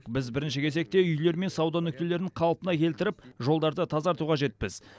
біз бірінші кезекте үйлер мен сауда нүктелерін қалпына келтіріп жолдарды тазарту қажетпіз